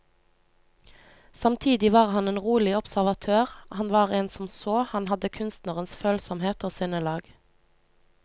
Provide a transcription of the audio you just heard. Samtidig var han en rolig observatør, han var en som så, han hadde kunstnerens følsomhet og sinnelag.